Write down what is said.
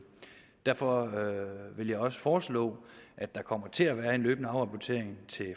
derfor vil jeg også foreslå at der kommer til at være en løbende afrapportering til